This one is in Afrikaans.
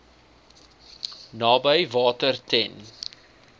naby water ten